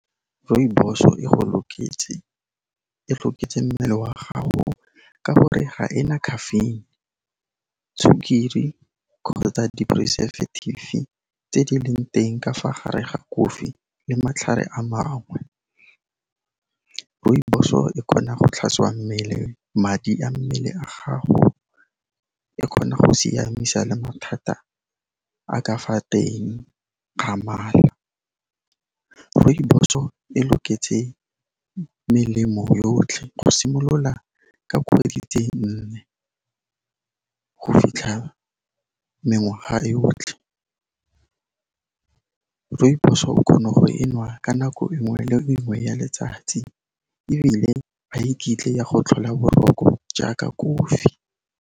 Rooibos-o e go loketse, e loketse mmele wa ka gore ga ena caffeine, sukiri kgotsa di-preservative tse di leng teng ka fa gare ga kofi le matlhare a mangwe. Rooibos-o e kgona go tlhatswa mmele, madi a mmele a gago, e kgona go siamisa le mathata a ka fa teng ga mala. Rooibos-o e loketse melemo yotlhe go simolola ka kgwedi tse nne, go fitlha mengwaga e otlhe. Rooibos-o o kgona go e nwa ka nako e nngwe le e nngwe ya letsatsi, ebile ga iketle ya go tlhola boroko jaaka kofi.